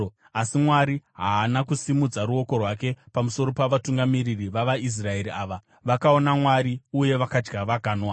Asi Mwari haana kusimudza ruoko rwake pamusoro pavatungamiri vavaIsraeri ava; vakaona Mwari, uye vakadya vakanwa.